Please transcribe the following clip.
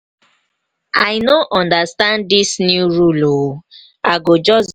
i no understand dis new rule ooo. i go just.